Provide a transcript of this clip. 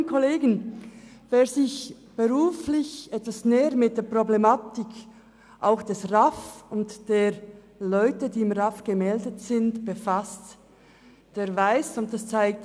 Kolleginnen und Kollegen, wer sich beruflich etwas näher mit der Problematik der Regionalen Arbeitsvermittlungszentren (RAV) und der Leute, die beim RAV gemeldet sind, befasst, der kennt die Schwierigkeiten.